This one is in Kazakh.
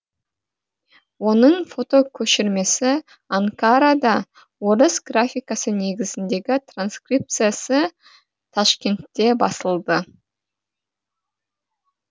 оның фотокөшірмесі анкарада орыс графикасы негізіндегі транскрипциясы ташкентте басылды